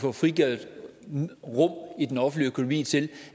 får frigjort råderum i den offentlige økonomi til